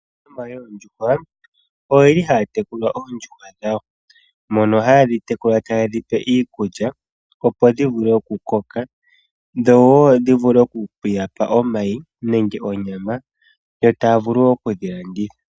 Aanafalama yoondjuhwa oyeli haya tekula oondjuhwa dhawo. Mono hayedhi tekula taye dhipe iikulya opo dhi vule oku koka dhowo dhi vule oku yapa omayi nenge onyama. Yo taya vulu wo okudhi landitha.